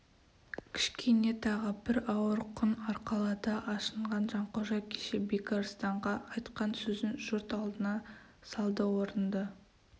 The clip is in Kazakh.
кішкене тағы бір ауыр құн арқалады ашынған жанқожа кеше бекарыстанға айтқан сөзін жұрт алдына салды орынды